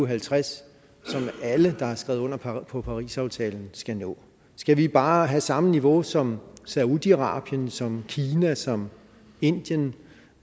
halvtreds som alle der har skrevet under på på parisaftalen skal nå skal vi bare have samme niveau som saudi arabien som kina som indien